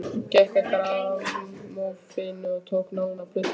Gekk að grammófóninum og tók nálina af plötunni.